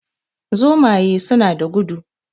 Zomaye suna da gudu